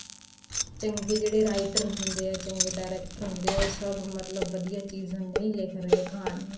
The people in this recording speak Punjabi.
ਚੰਗੇ ਜਿਹੜੇ writer ਹੁੰਦੇ ਏ ਚੰਗੇ director ਹੁੰਦੇ ਏ ਉਹ ਸਭ ਮਤਲਬ ਵਧੀਆ ਚੀਜ਼ਾਂ ਨਹੀਂ ਲਿੱਖ ਰਹੇ ਕਹਾਣੀਆਂ